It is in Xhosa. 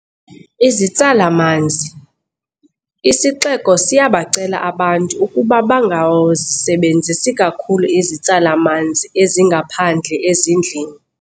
Izitsala-manzi. Isixeko siyabacela abantu ukuba bangazisebenzisi kakhulu izitsala-manzi ezingaphandle ezindlini.